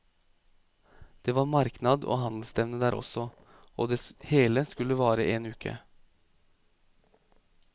Det var marknad og handelsstevne der også, og det hele skulle vare en uke.